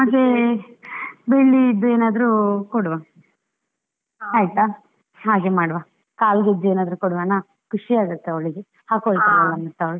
ಮತ್ತೆ, ಬೆಳ್ಳಿಯದ್ದು ಏನಾದ್ರು ಕೊಡುವ ಆಯ್ತಾ, ಹಾಗೆ ಮಾಡುವ ಕಾಲ್ಗೆಜ್ಜೆ ಏನಾದ್ರು ಕೊಡುವನಾ ಖುಷಿ ಆಗುತ್ತೆ ಅವಳಿಗೆ, ಹಾಕೋಳ್ತಾಳೆ ಮತ್ತೆ ಅವಳು.